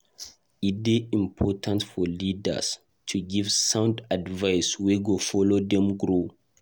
E dey important for leaders to give sound advice wey go help dem grow.